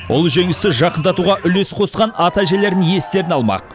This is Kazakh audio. ұлы жеңісті жақындатуға үлес қосқан ата әжелерін естеріне алмақ